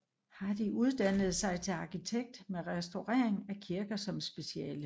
Hardy uddannede sig til arkitekt med restaurering af kirker som speciale